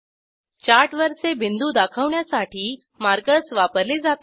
चार्टवरचे बिंदू दाखवण्यासाठी मार्कर्स वापरले जातात